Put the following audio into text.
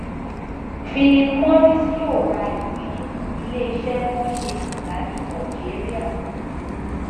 philip morris yóò ra ìpín nínú iléiṣẹ tó ń ṣe sìgá ní algeria